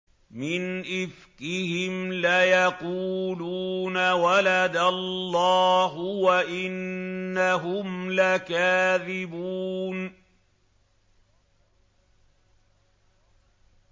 وَلَدَ اللَّهُ وَإِنَّهُمْ لَكَاذِبُونَ